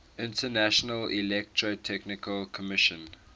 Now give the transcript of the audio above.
international electrotechnical commission